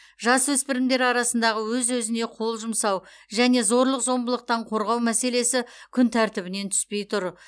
жасөспірімдер арасындағы өз өзіне қол жұмсау және зорлық зомбылықтан қорғау мәселесі күнтәртібінен түспей тұр